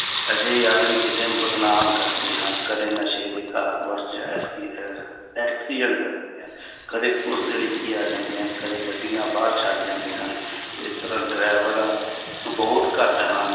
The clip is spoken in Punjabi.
ਅਜਿਹੇ ਆਦਮੀ ਕਿਸੇ ਨੂੰ ਬਦਨਾਮ ਕਰਦੇ ਹਨ, ਕਦੇ ਨਸ਼ੇ ਦੇ ਅਹ accident ਕਰ ਦਿੰਦੇ ਹਨ ਕਦੇ ਪੁਲਿਸ ਦੇ ਡਿੱਕੇ ਆ ਜਾਂਦੇ ਹਨ, ਕਦੇ ਗੱਡੀਆਂ ਬਾਹਰ ਛੱਡ ਜਾਂਦੇ ਹਨ ਇਸ ਤਰ੍ਹਾਂ ਡਰਾਈਵਰਾਂ ਬਹੁਤ ਘੱਟ ਹਨ